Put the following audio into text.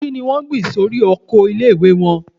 Kí ni wọ́n gbìn sórí oko ilé - ìwé wọn?